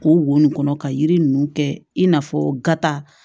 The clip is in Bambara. K'o wo nin kɔnɔ ka yiri ninnu kɛ i n'a fɔ gata